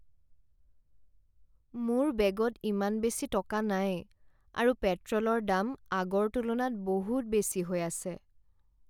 মোৰ বেগত ইমান বেছি টকা নাই আৰু পেট্ৰলৰ দাম আগৰ তুলনাত বহুত বেছি হৈ আছে।